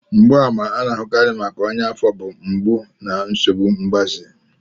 Mgbaàmà ndị a na-ahụkarị nke ọnya afo bụ mgbu na nsogbu mgbaze.